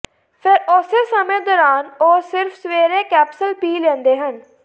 ਫਿਰ ਉਸੇ ਸਮੇਂ ਦੌਰਾਨ ਉਹ ਸਿਰਫ ਸਵੇਰੇ ਕੈਪਸੂਲ ਪੀ ਲੈਂਦੇ ਹਨ